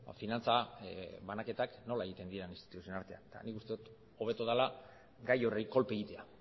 finantza banaketak nola egiten diren instituzioen artean eta nik uste dot hobeto dela gai horri kolpe egitea